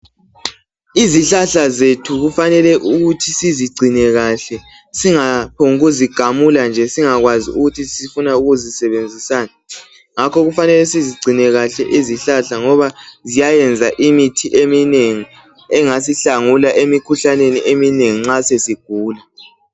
Izihlahla zethu kufanele ukuthi sizigcine kahle singaphomb'ukuzigamula nje singakwazi ukuthi sifuna ukuzisebenzisani. Ngakho kufanele ukuthi sizigcine kahle izihlahla ngoba ziyayenza imithi eminengi engasihlangula emikhuhlaneni eminengi nxa sesigula.